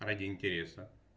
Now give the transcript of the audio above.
ради интереса